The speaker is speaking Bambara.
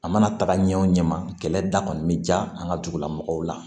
A mana taga ɲɛ o ɲɛ ma kɛlɛ da kɔni bɛ diya an ka dugu la mɔgɔw la